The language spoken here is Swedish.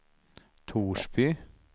Torsby